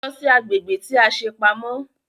Lọ sí agbègbè tí a ṣe pamọ́!